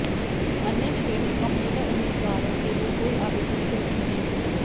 अन्य श्रेणी और महिला उम्मीदवारों के लिए कोई आवेदन शुल्क नहीं